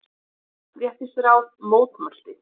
sem Jafnréttisráð mótmælti.